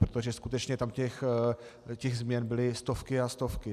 Protože skutečně tam těch změn byly stovky a stovky.